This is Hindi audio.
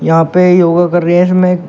यहां पे योगा कर रहे हैं इसमें--